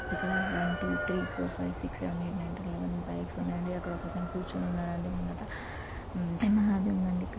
ఇక్కడ one two three four five six seven eight nine ten eleven bikes ఉన్నాయి అండి ఒక అతను కూర్చొని ఉన్నాడు అండి ముందట యమహా అని ఉంది అండి.